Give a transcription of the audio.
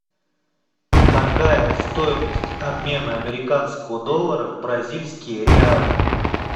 какая стоимость обмена американского доллара в бразильские реалы